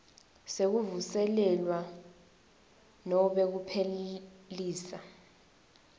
sekuvuselelwa nobe kuphelisa